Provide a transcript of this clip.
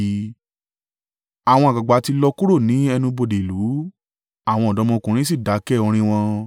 Àwọn àgbàgbà ti lọ kúrò ní ẹnu-bodè ìlú; àwọn ọ̀dọ́mọkùnrin sì dákẹ́ orin wọn.